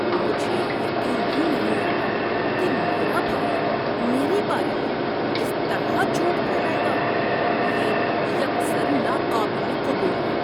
مجھے یقین ہی نہیں آتا کہ میرا بھائی میرے بارے میں اس طرح جھوٹ پھیلائے گا۔ یہ یکسر ناقابل قبول ہے۔